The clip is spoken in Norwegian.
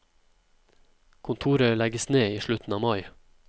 Kontoret legges ned i slutten av mai.